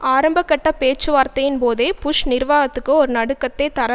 ஆரம்ப கட்ட பேச்சுவார்த்தையின் போதே புஷ் நிர்வாகத்துக்கு ஒரு நடுக்கத்தை தர